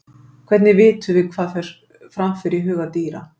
Hvernig vitum við hvað fram fer í huga dýra?